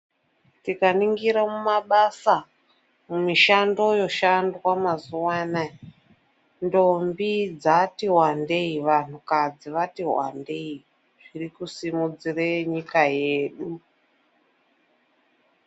Tikaningira mumabasa mumishando yoshandwa mazuva anaya. Ndombi dzati wandei, vantukadzi vati vandei zvirikusimudzire nyika yedu.